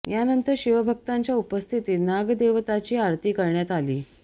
यानंतर शिवभक्तांच्या उपस्थितीत नागदेवताची आरती करण्यात आली